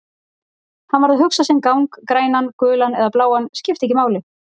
Hann varð að hugsa sinn gang, grænan, gulan eða bláan, skipti ekki máli.